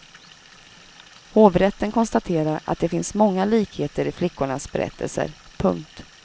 Hovrätten konstaterar att det finns många likheter i flickornas berättelser. punkt